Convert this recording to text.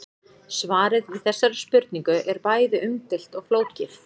Svarið við þessari spurningu er bæði umdeilt og flókið.